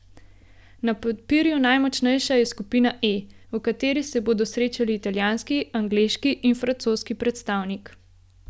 Na papirju najmočnejša je skupina E, v kateri se bodo srečali italijanski, angleški in francoski predstavnik.